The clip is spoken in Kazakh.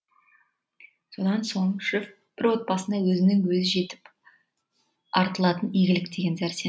содан соң шеф бір отбасына осының өзі жетіп артылатын игілік деген сәрсен